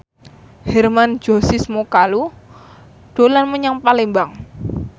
Hermann Josis Mokalu dolan menyang Palembang